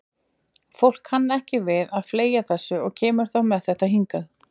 Fólk kann ekki við að fleygja þessu og kemur þá með þetta hingað.